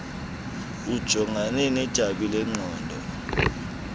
ujongane nedabi lengqondo